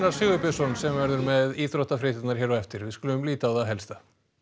Sigurbjörnsson sem verður með íþróttafréttirnar hér á eftir við skulum líta á það helsta